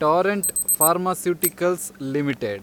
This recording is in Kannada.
Torrent pharmaceuticals limited